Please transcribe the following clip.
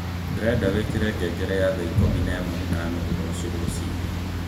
ndirenda wikire ngengere ya thaa ikũmi na ĩmwe na nuthu rũciũ rũcinĩ